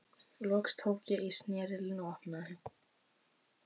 Loks tók ég í snerilinn og opnaði.